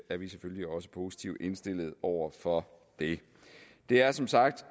er vi selvfølgelig også positivt indstillet over for det det er som sagt